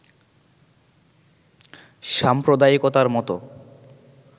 সাম্প্রদায়িকতার মত